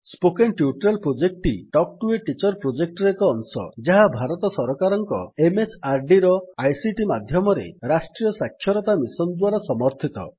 spoken tutorial ପ୍ରୋଜେକ୍ଟଟି talk to a teacher project ର ଏକ ଅଂଶ ଯାହା ଭାରତ ସରକାରଙ୍କ MHRDର ଆଇସିଟି ମାଧ୍ୟମରେ ରାଷ୍ଟ୍ରୀୟ ସାକ୍ଷରତା ମିଶନ୍ ଦ୍ୱାରା ସମର୍ଥିତ